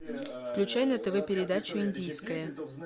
включай на тв передачу индийское